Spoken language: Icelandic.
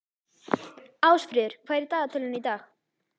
Ásfríður, hvað er í dagatalinu í dag?